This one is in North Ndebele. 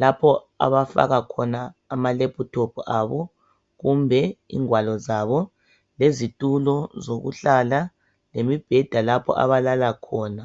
lapho abafaka khona amalephuthophu abo, kumbe ingwalo zabo, lezitulo zokuhlala, lemibheda lapho abalala khona.